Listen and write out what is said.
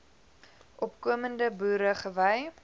opkomende boere gewy